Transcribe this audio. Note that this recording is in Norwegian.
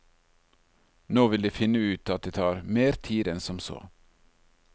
Nå vil de finne ut at det tar mer tid enn som så.